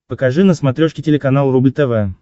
покажи на смотрешке телеканал рубль тв